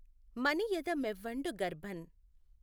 మనియెద మెవ్వఁడు గర్భం